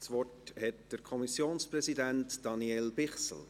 Das Wort hat der Kommissionspräsident, Daniel Bichsel.